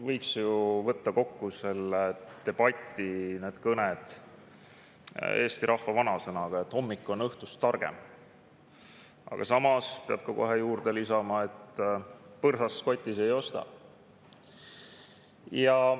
Võiks ju võtta kokku selle debati, need kõned eesti vanasõnaga, et hommik on õhtust targem, aga samas peab kohe juurde lisama, et põrsast kotis ei osta.